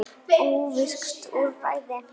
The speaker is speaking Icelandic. Óvirkt úrræði?